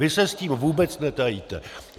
Vy se s tím vůbec netajíte.